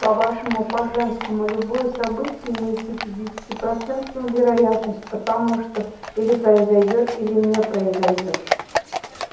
по-вашему по-женскому любое событие имеет пятидесятипроцентную вероятность потому что или произойдёт или не произойдёт